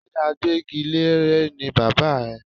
Ṣé agbẹ́gilére ni bàbá ẹ?